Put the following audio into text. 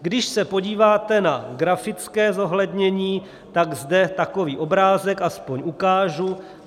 Když se podíváte na grafické zohlednění, tak zde takový obrázek aspoň ukážu.